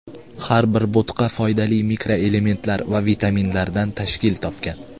Har bir bo‘tqa foydali mikroelementlar va vitaminlardan tashkil topgan.